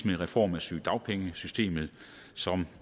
med reform af sygedagpengesystemet som